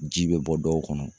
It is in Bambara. Ji bɛ bɔ dɔw kɔnɔ